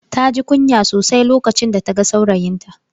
Taji kunya sosai lokacin da ta ga saurayinta.